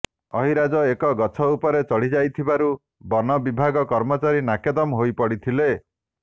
ଅହିରାଜ ଏକ ଗଛ ଉପରେ ଚଢିଯାଇଥିବାରୁ ବନ ବିଭାଗ କର୍ମଚାରୀ ନାକେଦମ ହୋଇପଡିଥିଲେ